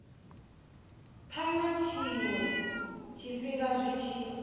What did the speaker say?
phana tshiwe tshifhinga zwi tshi